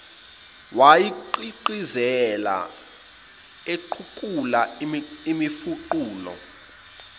wayegqigqizela equkula imifuqulu